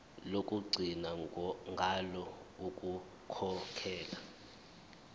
lokugcina ngalo ukukhokhela